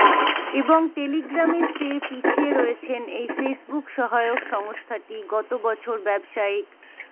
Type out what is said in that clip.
এবং টেলিগ্রামের চেয়ে পিছিয়ে রয়েছেন এই ফেসৱুক সহায়ক সংস্থাটি গত বছর ব্যবসায়িক